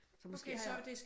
Så måske så